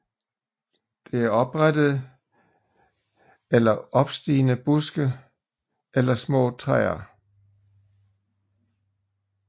Det er oprette eller opstigende buske eller små træer